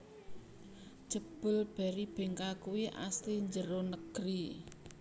Jebul Berrybenka kui asli njero negeri